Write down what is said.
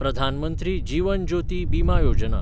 प्रधान मंत्री जिवन ज्योती बिमा योजना